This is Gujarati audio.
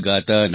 વિઠ્ઠલ